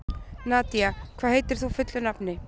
Nadia, hvað heitir þú fullu nafni?